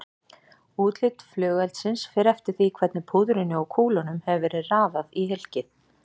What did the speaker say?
Útlit flugeldsins fer eftir því hvernig púðrinu og kúlunum hefur verið raðað í hylkið.